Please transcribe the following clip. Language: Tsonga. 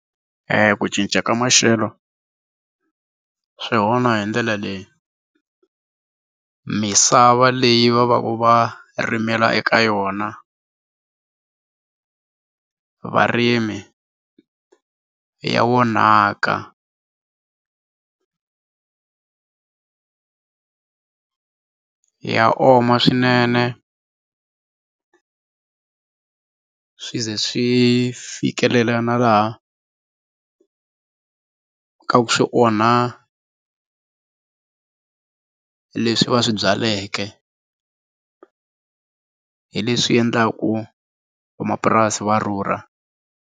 ku cinca ka maxelo swi onha hi ndlela leyi, misava leyi va va va rimela eka yona varimi ya onhaka ya oma swinene swi ze swi fikelela na laha ka ku swi onha leswi va swi byaleke hi leswi endlaku vamapurasi va rhurha.